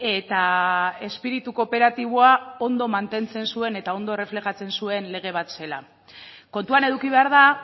eta espiritu kooperatiboa ondo mantentzen zuen eta ondo erreflejatzen zuen lege bat zela kontuan eduki behar da